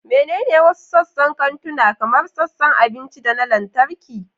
Menene wasu sassan kantuna, kamar sassan abinci da na lantarki?